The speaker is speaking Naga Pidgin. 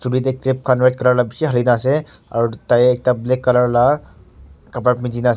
tey clip khan red color la bishi halina ase aro tai ekta black color la khapra punjina ase--